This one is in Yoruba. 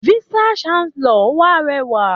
Vice chancellor wa rẹwà.